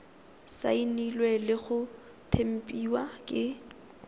saenilwe le go tempiwa ke